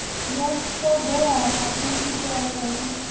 ya todea na kuitele hu